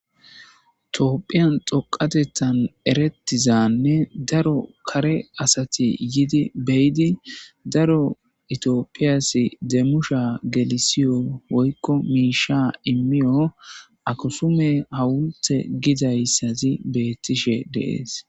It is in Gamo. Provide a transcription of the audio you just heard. Toopphiyan xoqatettan erettizanne daro kare asati yidi beyidi daro itiopiyasi deemusha gelisiyo woykko miisha immiyo akusume hawulte gidayssazi beettishe dee'es.